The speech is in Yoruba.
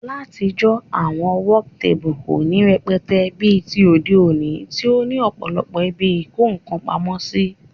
Látijó, àwon work table kò ní rẹpẹtẹ bí ti òde òní tí ó ní òpòlopò ibi ìko nkan pamósí